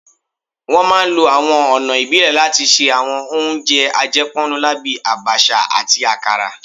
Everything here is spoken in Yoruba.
Wọ́n máa ń lo àwọn ọ̀nà ìbílẹ̀ láti ṣe àwọn oúnjẹ àjẹpọ́nnulá bíi Abacha àti akara